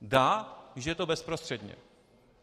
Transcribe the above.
Dá, když je to bezprostředně.